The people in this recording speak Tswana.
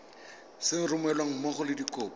sa romelweng mmogo le dikopo